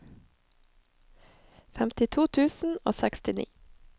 femtito tusen og sekstini